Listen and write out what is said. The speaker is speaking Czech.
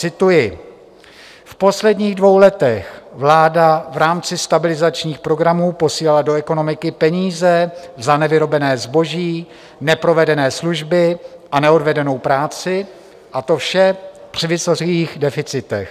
Cituji: "V posledních dvou letech vláda v rámci stabilizačních programů posílala do ekonomiky peníze za nevyrobené zboží, neprovedené služby a neodvedenou práci, a to vše při vysokých deficitech.